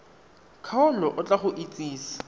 kgaolo o tla go itsise